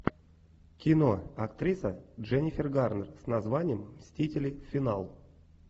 кино актриса дженнифер гарнер с названием мстители финал